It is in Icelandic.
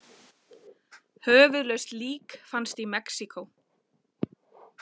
Höfuðlaust lík fannst í Mexíkó